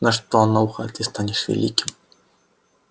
она шептала на ухо ты станешь великим